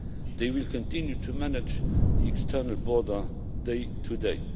They will continue to manage the external border day to day.